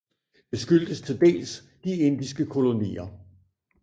Det skyldtes til dels de indiske kolonier